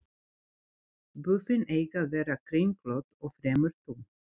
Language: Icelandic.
Buffin eiga að vera kringlótt og fremur þunn.